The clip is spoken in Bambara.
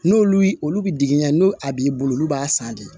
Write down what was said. N'olu y'i olu bi digiɲɛ n'u a b'i bolo olu b'a san de